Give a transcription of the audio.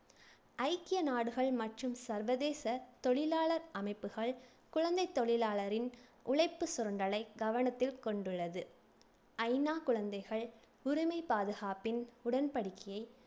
ஐக்கிய நாடுகள் மற்றும் சர்வதேச தொழிலாளர் அமைப்புகள் குழந்தைத் தொழிலாளரின் உழைப்புச் சுரண்டலை கவனத்தில் கொண்டுள்ளது ஐ நா குழந்தைகள் உரிமை பாதுகாப்பின் உடன்படிக்கையை